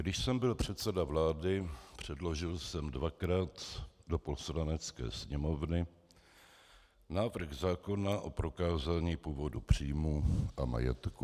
Když jsem byl předseda vlády, předložil jsem dvakrát do Poslanecké sněmovny návrh zákona o prokázání původu příjmů a majetku.